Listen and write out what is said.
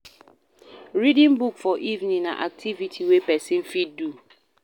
Reading book for evening na activity wey person fit do